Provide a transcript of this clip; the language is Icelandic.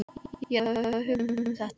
Ég er alltaf að hugsa um þetta.